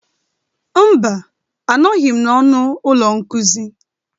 Mba, anọghị m n'ọnụ ụlọ nkuzi.